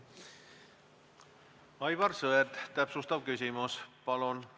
Aivar Sõerd, täpsustav küsimus, palun!